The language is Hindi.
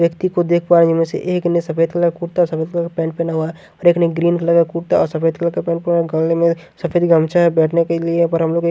व्यक्ति को देख पा रहे जिनमें से एक ने सफेद कलर का कुर्ता और सफेद कलर का पेंट पहना हुआ है और एक ने ग्रीन कलर का कुर्ता और सफेद कलर का गले में सफेद गमचा है बैठने के लिए पर हम लोग --